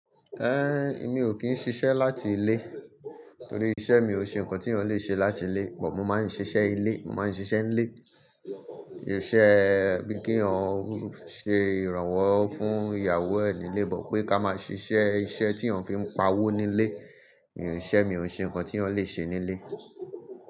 Ehn, èmi o kín ṣiṣẹ láti ilé, torí iṣẹ mi o ṣe nǹkan tí ọ n le ṣe láti ilé, mo ma n ṣiṣẹ ilé, mo ma n ṣiṣẹ n lé. Iṣẹ bí kí ọ n ṣe iranwọ fún ìyàwó ni lébọ pé ká máa ṣiṣẹ iṣẹ tí ọ n fi pa owó nílé. Irú iṣẹ mi o ṣe nǹkan tí ọ n le ṣe nílé.